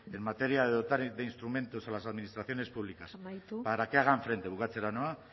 en materia de dotar de instrumentos a las administraciones públicas amaitu para que hagan frente bukatzera noa